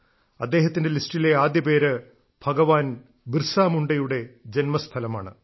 അദ്ദേഹത്തിന്റെ ലിസ്റ്റിലെ ആദ്യ പേര് ഭഗവാൻ ബിർസ മുണ്ഡയുടെ ജന്മസ്ഥലമാണ്